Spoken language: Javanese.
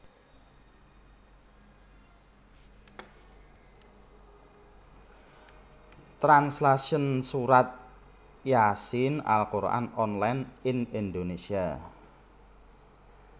Translation Surat Yaa Siin Al Qur an online in Indonesia